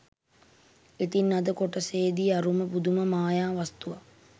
ඉතින් අද කොටසෙදි අරුම පුදුම මායා වස්තුවක්